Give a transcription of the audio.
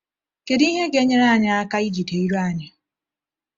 Kedu ihe ga-enyere anyị aka ijide ire anyị?